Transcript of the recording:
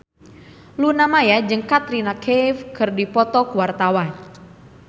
Luna Maya jeung Katrina Kaif keur dipoto ku wartawan